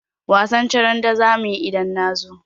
Wasan charade za mu yi idan na zo.